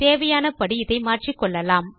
தேவையானபடி இதை மாற்றிக்கொள்ளலாம்